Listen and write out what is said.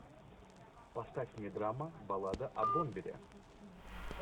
поставь мне драма баллада о бомбере